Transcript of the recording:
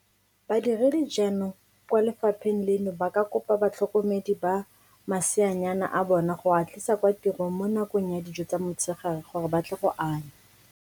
Badiredi jaanong kwa le fapheng leno ba ka kopa batlhokomedi ba maseanyana a bona go a tlisa kwa tirong mo nakong ya dijo tsa motshegare gore ba tle go anya.